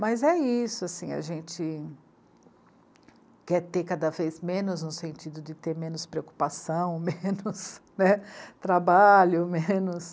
Mas é isso, assim, a gente quer ter cada vez menos no sentido de ter menos preocupação, menos, né, trabalho, menos...